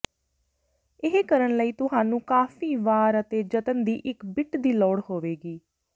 ਇਹ ਕਰਨ ਲਈ ਤੁਹਾਨੂੰ ਕਾਫ਼ੀ ਵਾਰ ਅਤੇ ਜਤਨ ਦੀ ਇੱਕ ਬਿੱਟ ਦੀ ਲੋੜ ਹੋਵੇਗੀ